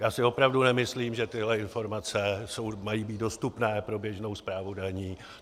Já si opravdu nemyslím, že tyhle informace mají být dostupné pro běžnou správu daní.